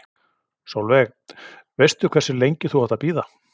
Sólveig: Veistu hversu lengi þú átt að bíða?